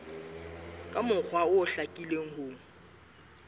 ka mokgwa o hlakileng ho